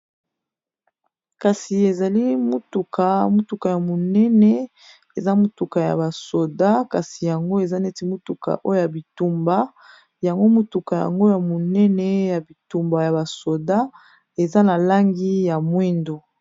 Kasi ezali motuka ya monene eza motuka ya ba soda, kasi yango eza neti motuka oyo ya bitumba, motuka yango eza ya monene ya bitumba ya ba soda, eza na langi ya mwindo.